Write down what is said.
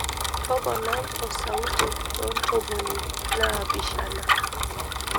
toponai osauti to ntomoni naapishana